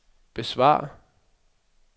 besvar